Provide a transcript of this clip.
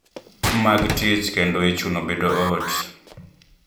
Mag tich kendo ichuno bedo ot